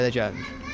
Hələ də gəlmir.